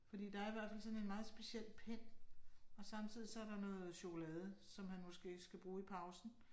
Fordi der er i hvert fald sådan en meget speciel pen og samtidig så der noget chokolade, som han måske skal bruge i pausen